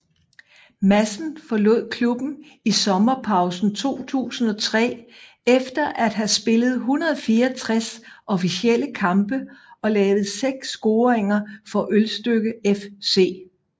Madsen forlod klubben i sommerpausen 2003 efter at have spillet 164 officielle kampe og lavet seks scoringer for Ølstykke FC